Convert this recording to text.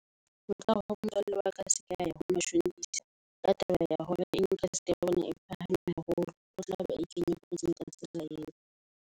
Nkare ho motswalle wa ka a sekaya ho mashonisa. Ka taba ya hore interest ya bona e phahame haholo. O tlabe a ikenya kotsing ka tsela eo.